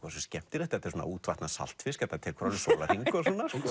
skemmtilegt þetta er svona að útvatna saltfisk þetta tekur alveg sólarhring þú